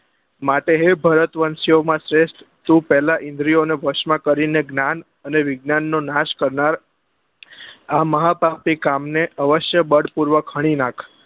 માટે હે ભરતવંશી ઓ માં શ્રેષ્ટ તું પેલા ઇન્દ્રિ ઓ ને ભષ્મ કરી ને જ્ઞાન અને વિજ્ઞાન નો નાશ કરનાર આ મહાપાપી કામ ને અવશ્ય બળ પૂર્વક ખણી નાખ